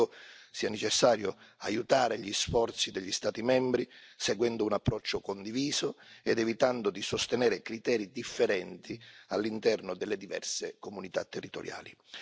Ritengo sia necessario aiutare gli sforzi degli Stati membri, seguendo un approccio condiviso ed evitando di sostenere criteri differenti all'interno delle diverse comunità territoriali.